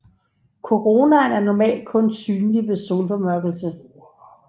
Koronaen er normalt kun synlig ved solformørkelse